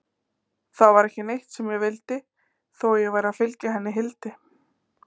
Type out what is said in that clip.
Það var ekki neitt sem ég vildi, þó ég væri að fylgja henni Hildi.